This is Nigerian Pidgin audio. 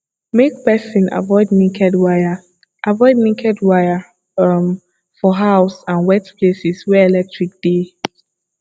make person avoid naked wire avoid naked wire um for house and wet places wey electric dey